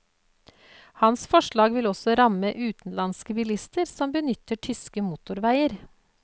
Hans forslag vil også ramme utenlandske bilister som benytter tyske motorveier.